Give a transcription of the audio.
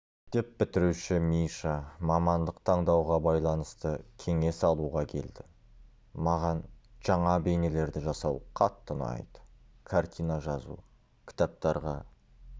мектеп бітіруші миша мамандық таңдауға байланысты кеңес алуға келді маған жаңа бейнелерді жасау қатты ұнайды картина жазу кітаптарға